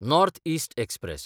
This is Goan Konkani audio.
north east express